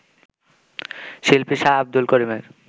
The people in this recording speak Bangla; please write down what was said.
শিল্পী শাহ আব্দুল করিমের